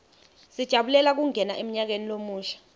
sijabulela kungena emnyakeni lomusha